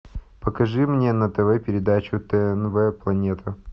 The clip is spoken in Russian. покажи мне на тв передачу тнв планета